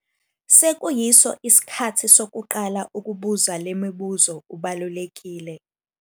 Sekuyiso isikhathi sokuqala ukubuza le mibuzo ubalulekile!